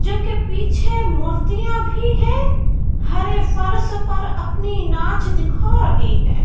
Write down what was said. जो की पीछे मूर्तियां भी है हरे फर्श पर अपनी नाच दिखा रही है।